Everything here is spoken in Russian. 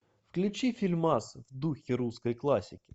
включи фильмасы в духе русской классики